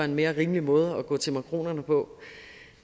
mere rimelig måde at gå til makronerne på